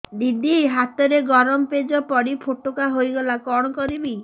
ଦିଦି ହାତରେ ଗରମ ପେଜ ପଡି ଫୋଟକା ହୋଇଗଲା କଣ କରିବି